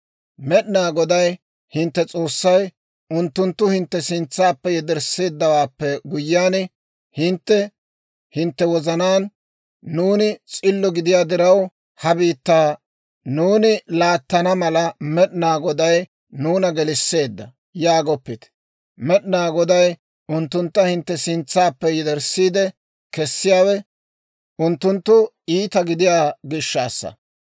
«Med'inaa Goday hintte S'oossay unttuntta hintte sintsaappe yedersseeddawaappe guyyiyaan, hintte hintte wozanaan, ‹Nuuni s'illo gidiyaa diraw, ha biittaa nuuni laattana mala, Med'inaa Goday nuuna gelisseedda› yaagoppite. Med'inaa Goday unttuntta hintte sintsaappe yederssiide kessiyaawe, unttunttu iita gidiyaa gishshassa.